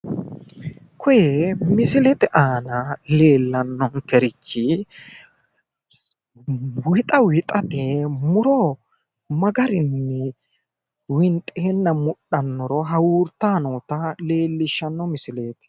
Koye misilete aana leellannonkerichi wixa wixate muro magarinni winxeenna mudhannoro kultanno misileeti.